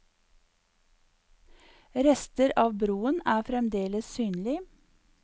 Rester av broen er fremdeles synlig.